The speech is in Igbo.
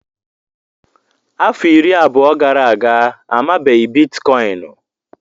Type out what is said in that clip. Afọ iri abụọ gara aga, amabeghị Biticoinu.